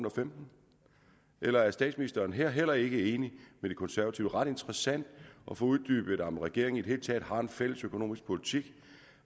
og femten eller er statsministeren her heller ikke enig med de konservative ret interessant at få uddybet om regeringen i det hele taget har en fælles økonomisk politik